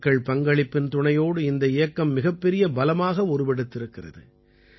மக்கள் பங்களிப்பின் துணையோடு இந்த இயக்கம் மிகப்பெரிய பலமாக உருவெடுத்திருக்கிறது